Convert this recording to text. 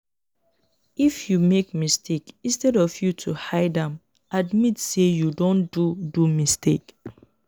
if you make mistake instead of ypu to hide am admit sey you don do do mistake